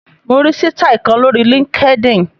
Mo rí sítáì kan lórí LinkedIn.